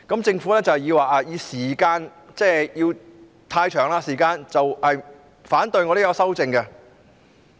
政府是以時間過長為理由而反對我的修正案。